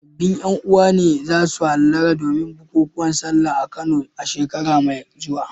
Sabbin ƴan uwa ne za su hallara domin bukukuwan Sallah a Kano a shekara mai zuwa.